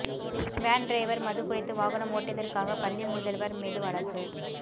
van driver மது குடித்து வாகனம் ஓட்டியதற்காக பள்ளி முதல்வர் மீது வழக்கு